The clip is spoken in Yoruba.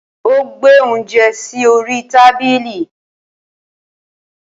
Ó gbé óúnjẹ sí orí tábìlì.